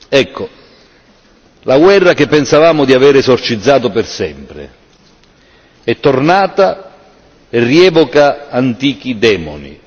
Ecco, la guerra che pensavamo di aver esorcizzato per sempre è tornata e rievoca antichi demoni.